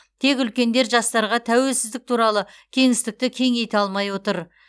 тек үлкендер жастарға тәуелсіздік туралы кеңістікті кеңейте алмай отыр